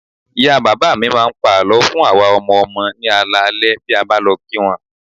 Ìyá bàbá mi máa ń pa àlọ́ fún àwa ọmọ ọmọ ní alaalẹ́ bí a bá lọ kí wọn